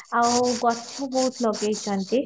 ଆଉ ଗଛ ବହୁତ ଲଗେଇଛନ୍ତି